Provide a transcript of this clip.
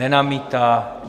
Nenamítá.